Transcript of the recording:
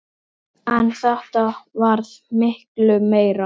En þetta varð miklu meira.